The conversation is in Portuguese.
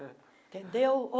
Entendeu?